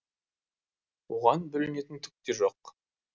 оған бүлінетін түк те жоқ